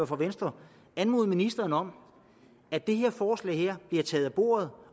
for venstre anmode ministeren om at det her forslag bliver taget af bordet